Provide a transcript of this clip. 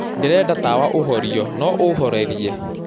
ndĩrenda tawa ũhorĩo no ũhorerie